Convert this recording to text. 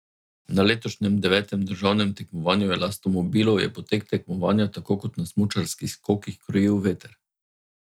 Na letošnjem devetem državnem tekmovanju elastomobilov je potek tekmovanja tako kot na smučarskih skokih krojil veter.